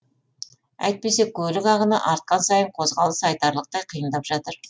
әйтпесе көлік ағыны артқан сайын қозғалыс айтарлықтай қиындап жатыр